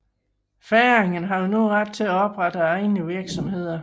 Færingerne havde nu ret til at oprette egne virksomheder